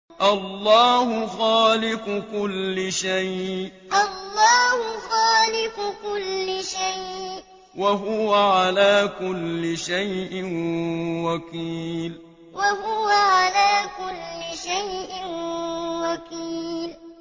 اللَّهُ خَالِقُ كُلِّ شَيْءٍ ۖ وَهُوَ عَلَىٰ كُلِّ شَيْءٍ وَكِيلٌ اللَّهُ خَالِقُ كُلِّ شَيْءٍ ۖ وَهُوَ عَلَىٰ كُلِّ شَيْءٍ وَكِيلٌ